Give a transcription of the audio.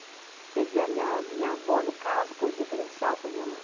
Quer dizer, a minha, minha avó, no caso, foi um referencial para minha mãe.